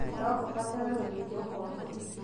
No kũbatare gũthĩnjwo kwa ngoro